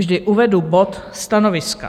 Vždy uvedu bod stanoviska.